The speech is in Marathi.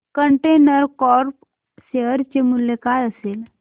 कंटेनर कॉर्प शेअर चे मूल्य काय असेल